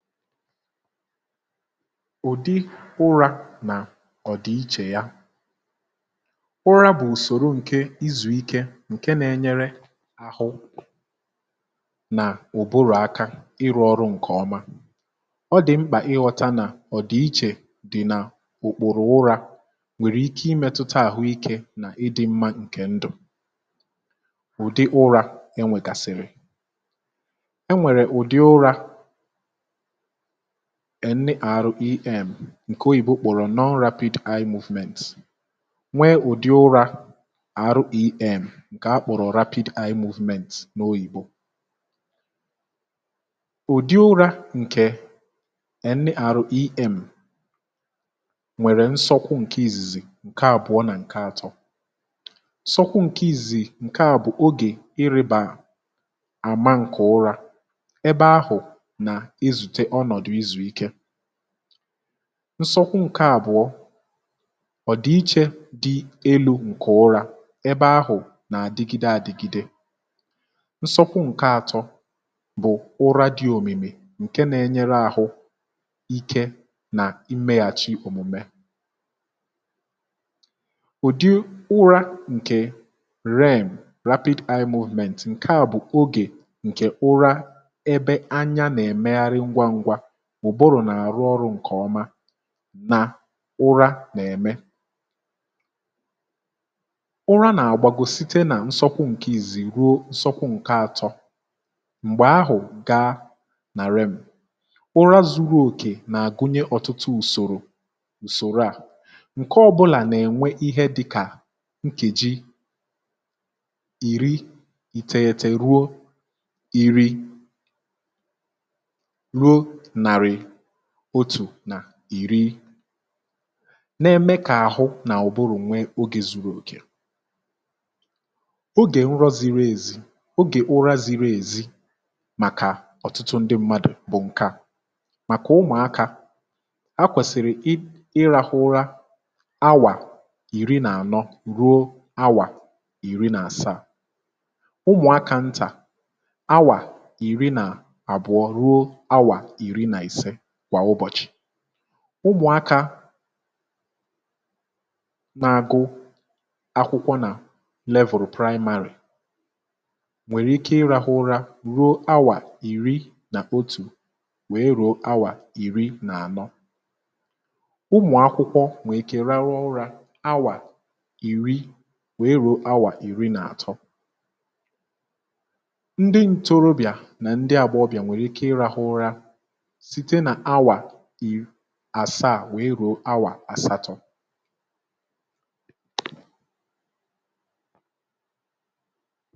Ụ̀dị ụra nà ọ̀dị ichè ya, ụra bụ̀ ùsòrò ǹke izùikė ǹke nȧ-enyere àhụ nà òbòrò aka ịrụ̇ ọrụ ǹkè ọma, ọ dị̀ mkpà ịghọ̇ta nà ọ̀dị ichè dị̀ n’òkpòrò ụra nwèrè ike imėtụta àhụ ikė nà ịdị̇ mmȧ ǹkè ndụ̀. Ụ̀dị ụra enwègasị̀rị̀, enwèrè ụ̀dị ụra NREM ǹkè oyìbo kpọ̀rọ̀ Non Rapid Eye Movement nwee ụ̀dị ụra REM ǹkè akpọ̀rọ̀ Rapid Eye Movement n’òyìbo. Ụ̀dị ụra ǹkè NREM nwèrè nsọkwụ ǹkè izìzì, ǹke àbụọ nà ǹke atọ, nsọkwu ǹkè izìzì ǹke à bụ ogè iribà àma ǹkè ụra ebe ahụ̀ na-ezute ọnọdụ ịzụ ike, nsọkwu ǹke àbụọ, ọ̀dịiche dị elu̇ ǹkè ụrȧ ebe ahụ̀ nà-àdịgide àdị̀gide, nsọkwu ǹke àtọ bụ̀ ụra dị òmìmì ǹke nȧ-ėnyere ȧhụ̇ ike nà imeghàchi òmùmè. Ụ̀dị ụra ǹkè REM (Rapid Eye Movement) ǹke à bụ̀ ogè ǹkè ụra ebe anya na-emegharị ngwangwa, ụbụrụ nà-àrụ ọrụ̇ ǹkè ọma na ụra nà-ème ụra na-agbago site na nsọkwu nke izìzì rụọ nsọkwu nke atọ, mgbe ahụ gaa na REM, ụra zụrụ oke na-agụnye ọtụtụ usoro usoro a nke ọbụna na-enwe ihe dịka nkeji iri iteghete rụọ iri ruo narị otù nà ìri na-ème kà àhụ nà ụ̀bụrụ̀ nwe ogè zuru okè, ogè nrọ ziri ezi, ogè ụra ziri èzi màkà ọ̀tụtụ ndị mmadụ̀ bụ̀ ǹke à, màkà ụmụ̀akȧ ha kwèsìrì ịrȧhụ ụra awà ìri nà ànọ ruo awà ìri nà àsaa, ụmụ̀akȧ ntà awà ìri nà àbụọ rụọ awa iri na ise kwa ụbọchị, ụmụ̀akȧ na-agụ akwụkwọ nà level primary nwèrè ike ịrȧhụ̇ ụra ruo awà ìri nà otù wèe rùo awà ìri nà ànọ, ụmụ̀ akwụkwọ nwèe ikè rarụ ụra awà ìri wèe rùo awà ìri nà àtọ, ndị ntorobịa na ndị agbahobia nwere ike ịrahụ ụra site na-awa iri asa à nwee ruo awà asatọ.